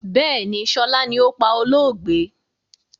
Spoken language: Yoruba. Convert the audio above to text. Bẹ́ẹ̀ni, sọlá ni ó pá olóògbé.